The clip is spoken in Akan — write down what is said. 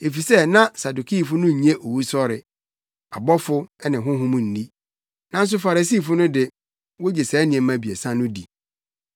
efisɛ na Sadukifo no nnye owusɔre, abɔfo ne honhom nni. Nanso Farisifo no de, wogye saa nneɛma abiɛsa no di.